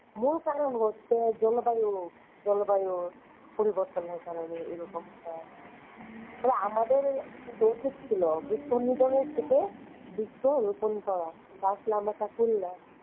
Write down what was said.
মূল কারণ হচ্ছে জলবায়ু। জলবায়ুর পরিবর্তনের কারণে এরকম হয় তবে আমাদের কিন্তু উচিত ছিল বিক্ষনিধনের থেকে বৃক্ষরোপণ করা কিন্তু আসলে আমরা তা করি না।